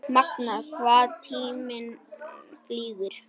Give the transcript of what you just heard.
Magnað hvað tíminn flýgur?